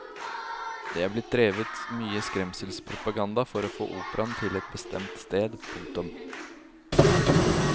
Det er blitt drevet mye skremselspropaganda for å få operaen til et bestemt sted. punktum